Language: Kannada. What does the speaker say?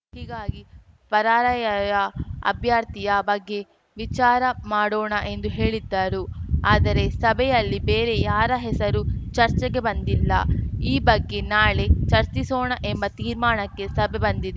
ಹೀಗಾಗಿ ಪರಾರ‍ಯಯ ಅಭ್ಯರ್ಥಿಯ ಬಗ್ಗೆ ವಿಚಾರ ಮಾಡೋಣ ಎಂದು ಹೇಳಿದ್ದರು ಆದರೆ ಸಭೆಯಲ್ಲಿ ಬೇರೆ ಯಾರ ಹೆಸರೂ ಚರ್ಚೆಗೆ ಬಂದಿಲ್ಲ ಈ ಬಗ್ಗೆ ನಾಳೆ ಚರ್ಚಿಸೋಣ ಎಂಬ ತೀರ್ಮಾನಕ್ಕೆ ಸಭೆ ಬಂದಿದೆ